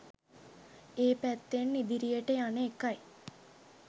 ඒ පැත්තෙන් ඉදිරියට යන එකයි.